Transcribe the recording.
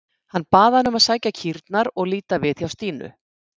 Hann bað hana um að sækja kýrnar og líta við hjá Stínu.